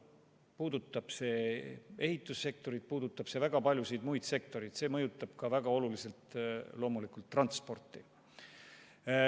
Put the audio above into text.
See puudutab ehitussektorit ja väga paljusid muid sektoreid, näiteks mõjutab see loomulikult väga oluliselt transporti.